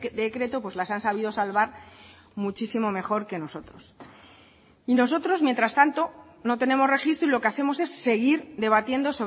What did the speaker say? decreto las han sabido salvar muchísimo mejor que nosotros y nosotros mientras tanto no tenemos registro y lo que hacemos es seguir debatiendo